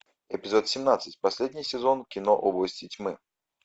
эпизод семнадцать последний сезон кино области тьмы